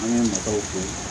An ka nataw don